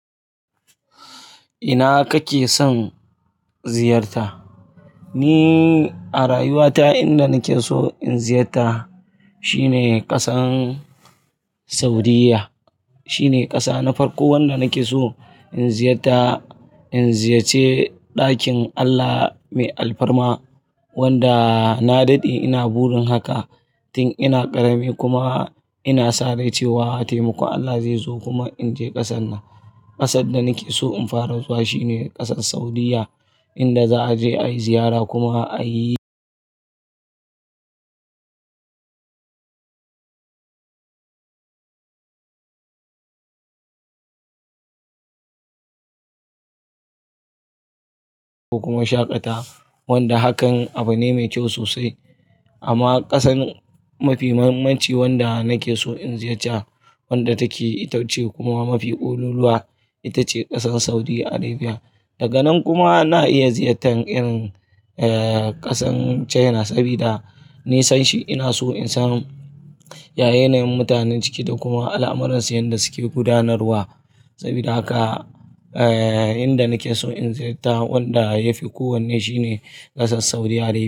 Ina kake son ziyarta? Ni a rayuwa ta inda nake so in ziyarta shine ƙasar Saudiyya. Shine ƙasa na farko wanda nake so in ziyarta, in ziyace ɗakin Allah mai alfarma wanda na daɗe ina burin haka. Tin ina ƙarami kuma ina sadai cewa taimakon Allah zai zo kuma in je ƙasar nan. Ƙasar da nake so in fara zuwa shine ƙasar Saudiyya, inda za a je ayi ziyara kuma ayi kuma shaƙata wanda hakan abu ne mai kyau sosai. Amma ƙasar mafi muhimmanci wanda nake so in ziyarci wadda take itacce kuma mafi oluluwa, itace ƙasar Saudi Arabiya. Daganan kuma na iya ziyartar irin eh ƙasar China sabida nisanshi ina so in san ya yanayin mutanen ciki da kuma al'amuransu yanda suke gudanarwa. Sabida haka eh inda nake so in ziyarta wanda yafi kowanne shine ƙasar Saudi Arabiya.